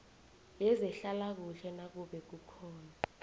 yezehlalakuhle nakube kukhona